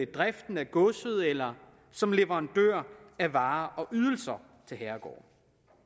driften af godset eller som leverandør af varer og ydelser til herregårde